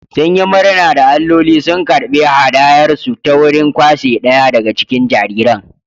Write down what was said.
Sun yi murna da alloli sun karɓi haɗayarsu ta wurin kwashe ɗaya daga cikin jariran